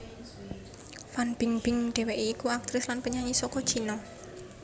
Fan Bingbing dhèwèké iku aktris lan penyanyi saka China